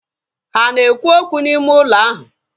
Ha ana ekwu okwu n'ime ụlọ ahu?